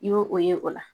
I y'o o ye o la